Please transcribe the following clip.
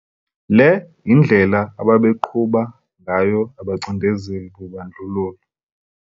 Le indlela ababeqhuba ngayo abacindezeli bobandlululo.